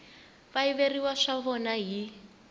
va yiveriwa swa vona hi